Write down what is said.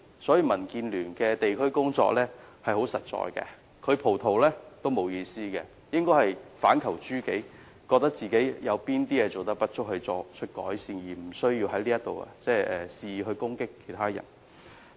因此，民建聯的地區工作十分實在，他"葡萄"我們也沒有意思，他應反求諸己，看看自己有何不足而作出改善，無須在此肆意攻擊別人。